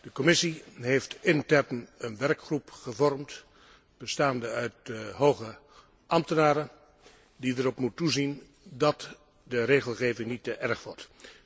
De Commissie heeft intern een werkgroep gevormd, bestaande uit hoge ambtenaren die erop moet toezien dat de regelgeving niet te erg wordt.